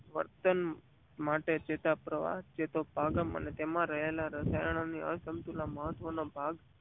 વર્તન માટે ચેતોપપ્રવાહ ચેતોપાગમ તેમાં રહેલા રસાયણો અનુસરતા મહત્વનો ભાગ ભજવે છે.